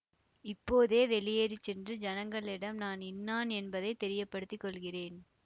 இப்போதே வெளியேறி சென்று ஜனங்களிடம் நான் இன்னான் என்பதை தெரியப்படுத்தி கொள்கிறேன்